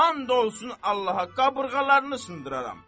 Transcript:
And olsun Allaha qabırğalarını sındıraram.